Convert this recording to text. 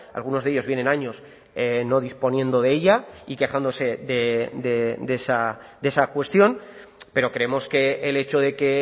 algunos de ellos vienen años no disponiendo de ella y quejándose de esa cuestión pero creemos que el hecho de que